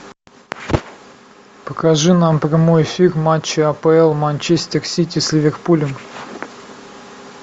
покажи нам прямой эфир матча апл манчестер сити с ливерпулем